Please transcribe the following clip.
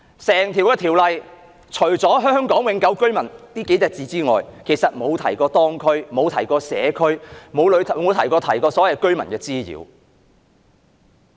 整項《條例草案》除了"香港永久性居民"這數個字外，其實沒有提及社區，亦沒有提及對居民的滋擾。